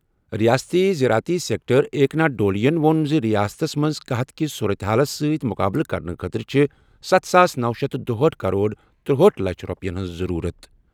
رِیٲستی زراعتی سیکٹر ایکناتھ ڈولیَن ووٚن زِ رِیاستَس منٛز قحط کِس صورتہِ حالَس سۭتۍ مُقابلہٕ کرنہٕ خٲطرٕ چھِ ستھ ساس نوَ شیتھ دُہأٹھ کرور ترٗہاٹھ لچھ رۄپیَن ہٕنٛز ضروٗرت۔